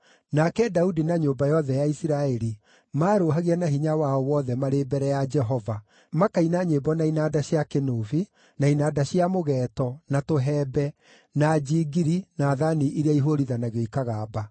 Nake Daudi na nyũmba yothe ya Isiraeli maarũũhagia na hinya wao wothe marĩ mbere ya Jehova, makaina nyĩmbo na inanda cia kĩnũbi, na inanda cia mũgeeto, na tũhembe, na njingiri na thaani iria ihũũrithanagio ikagamba.